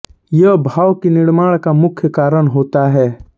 यह भाव की निर्माण का मुख्य कारण होता है